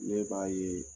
Ne b'a ye